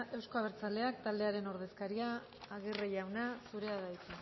euzko abertzaleak taldearen ordezkaria aguirre jauna zurea da hitza